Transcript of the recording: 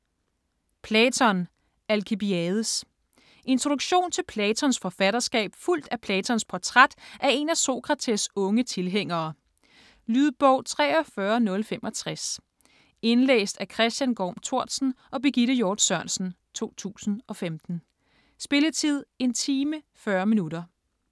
Platon: Alkibiades Introduktion til Platons forfatterskab fulgt af Platons portræt af en af Sokrates' unge tilhængere. Lydbog 43065 Indlæst af Chr. Gorm Tortzen og Birgitte Hjort Sørensen, 2015. Spilletid: 1 time, 40 minutter.